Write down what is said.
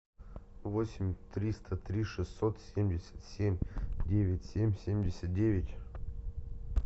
восемь триста три шестьсот семьдесят семь девять семь семьдесят девять